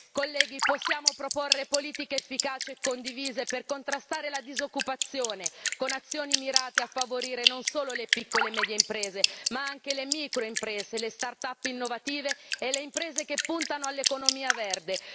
Colleghi, possiamo proporre politiche efficaci e condivise per contrastare la disoccupazione, con azioni mirate a favorire non solo le piccole e medie imprese, ma anche le micro imprese le start up innovative e le imprese che puntano all'economia verde.